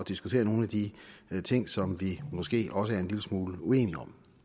diskutere nogle af de ting som vi måske også er en lille smule uenige om